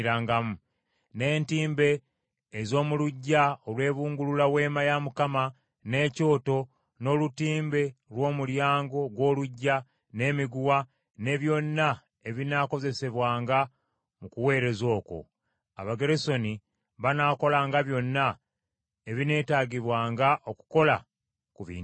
n’entimbe ez’omu luggya olwebungulula Weema ya Mukama n’ekyoto, n’olutimbe lw’omulyango gw’oluggya, n’emiguwa, ne byonna ebinaakozesebwanga mu kuweereza okwo. Abagerusoni banaakolanga byonna ebineetaagibwanga okukola ku bintu ebyo.